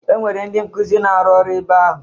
E nwere ndị nkuzi na-arụ ọru ebe ahụ.